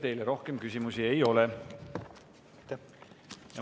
Teile rohkem küsimusi ei ole.